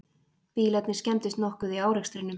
Bílarnir skemmdust nokkuð í árekstrinum